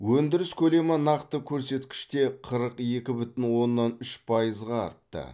өндіріс көлемі нақты көрсеткіште қырық екі бүтін оннан үш пайызға артты